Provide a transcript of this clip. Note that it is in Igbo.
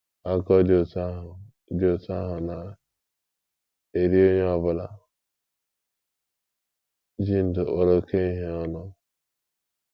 Akụkọ dị otú ahụ dị otú ahụ na - eri onye ọ bụla ji ndụ kpọrọ oké ihe ọnụ.